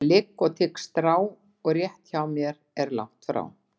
Ég ligg og tygg strá og rétt hjá er langt frá.